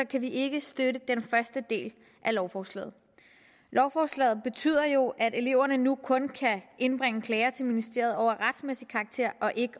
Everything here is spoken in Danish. kan vi ikke støtte den første del af lovforslaget lovforslaget betyder jo at eleverne nu kun kan indbringe klager til ministeriet af retsmæssig karakter og ikke